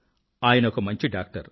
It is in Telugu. ఆయనొక మంచిడాక్టర్